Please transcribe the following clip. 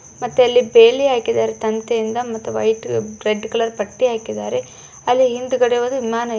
ಮತ್ತೆ ಅಲ್ಲಿ ಪೇಲಿ ಹಾಕಿದರೆ ತಂತಿಯಿಂದ ರೆಡ್ ಕಲರ್ ಪಟ್ಟಿ ಹಾಕಿದ್ದಾರೆ ಅಲ್ಲಿ ಹಿಂದಗಡೆ ಒಂದು ವಿಮಾನ --